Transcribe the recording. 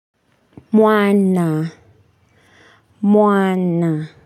Mwana, mwana.